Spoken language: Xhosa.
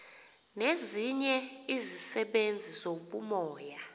nezinye izisebenzi zobumoya